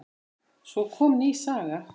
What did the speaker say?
Svo kom ný saga.